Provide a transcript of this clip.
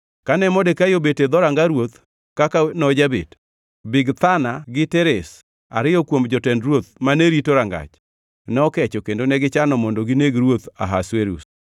Kane Modekai obet e dhoranga ruoth kaka nojabet, Bigthana gi Teresh, ariyo kuom jotend ruoth mane rito rangach, nokecho kendo negichano mondo gineg ruoth Ahasuerus.